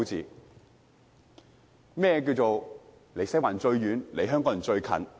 甚麼是"離西環最遠，離香港人最近"？